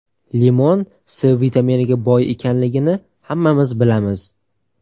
Limon C vitaminiga boy ekanligini hammamiz bilamiz.